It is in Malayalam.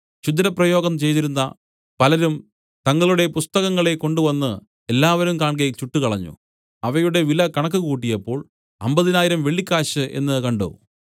ക്ഷുദ്രപ്രയോഗം ചെയ്തിരുന്ന പലരും തങ്ങളുടെ പുസ്തകങ്ങളെ കൊണ്ടുവന്ന് എല്ലാവരും കാൺകെ ചുട്ടുകളഞ്ഞു അവയുടെ വില കണക്കുകൂട്ടിയപ്പോൾ അമ്പതിനായിരം വെള്ളിക്കാശ് എന്നു കണ്ട്